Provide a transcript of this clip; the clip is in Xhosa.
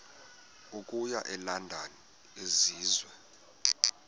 okuya elondon enziwe